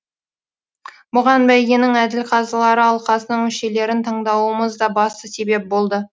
бұған бәйгенің әділ қазылар алқасының мүшелерін таңдауымыз да басты себеп болды